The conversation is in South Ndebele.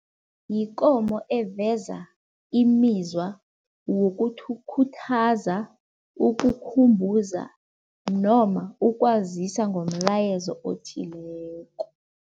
Yikomo eveza imizwa wokuthi ukhuthaza, ukukhumbuza noma ukwazisa ngomlayezo othileko.